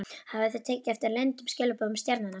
Hafið þið tekið eftir leyndum skilaboðum stjarnanna?